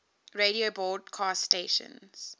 radio broadcast stations